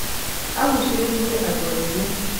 agucĩrĩĩe adũ aingĩ